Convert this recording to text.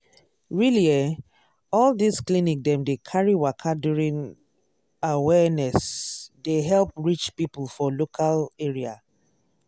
really eh all this clinic dem dey carry waka during um awareness dey help reach people for local area.